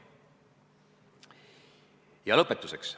Ja lõpetuseks.